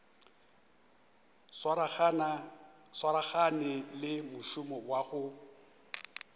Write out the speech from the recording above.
swaragane le mošomo wa go